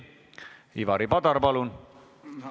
Ivari Padar, palun!